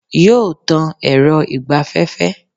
Yóò tan èrọ ìgbaféfé